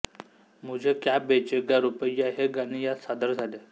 मुझे क्या बेचेगा रुपैय्या हे गाणे यात सादर झाले